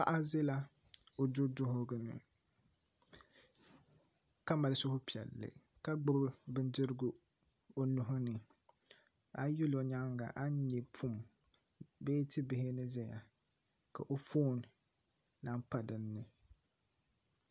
Paɣa ʒɛla o du duɣugu ni ka mali supiɛlli ka gbubi bindirigu o nuhi ni a yi yuli o nyaanga a ni nyɛ pum bee tia bihi ni ʒɛya ka o foon lahi pa dinni